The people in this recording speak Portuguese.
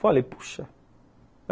Falei, puxa.